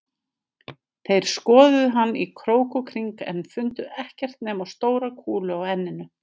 Þeir skoðuðu hann í krók og kring en fundu ekkert nema stóra kúlu á enninu